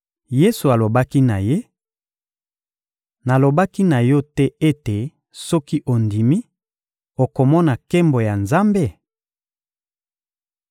Yesu alobaki na ye: — Nalobaki na yo te ete soki ondimi, okomona nkembo ya Nzambe?